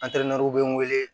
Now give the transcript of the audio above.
Antɛrantɛriw be n wele